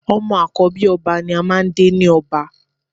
Ọmọ àkọ́bí ọba ni a máà ń dé ni ọba